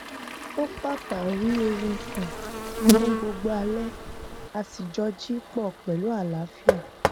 ó pápá rí oorun sùn fún gbogbo alẹ a sì jọ jí pọ pẹlú àlàáfíà